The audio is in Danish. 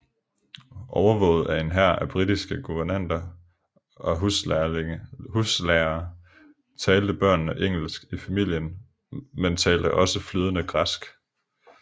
Overvåget af en hær af britiske guvernanter og huslærere talte børnene engelsk i familien men talte også flydende græsk